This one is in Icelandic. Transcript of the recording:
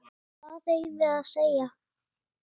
Hvað eigum við að segja?